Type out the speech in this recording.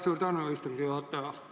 Suur tänu, istungi juhataja!